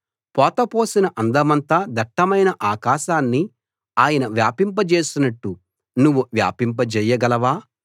పోత పోసిన అద్దమంత దట్టమైన ఆకాశాన్ని ఆయన వ్యాపింపజేసినట్టు నువ్వు వ్యాపింపజేయగలవా